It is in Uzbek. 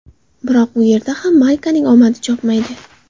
Biroq U yerda ham Maykaning omadi chopmaydi.